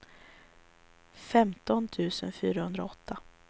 femton tusen fyrahundraåtta